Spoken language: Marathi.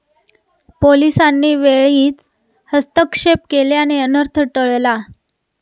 पोलिसांनी वेळीच हस्तक्षेप केल्याने अनर्थ टळला.